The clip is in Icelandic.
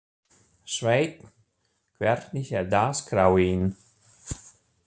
Sveinn, hvernig er dagskráin?